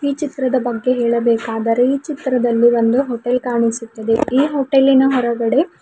ಈ ಚಿತ್ರದ ಬಗ್ಗೆ ಹೇಳಬೇಕಾದರೆ ಈ ಚಿತ್ರದಲ್ಲಿ ಒಂದು ಹೋಟೆಲ್ ಕಾಣಿಸುತ್ತಿದೆ ಈ ಹೊಟೆಲ್ಲಿನ ಹೊರಗಡೆ--